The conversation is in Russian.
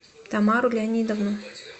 тамару леонидовну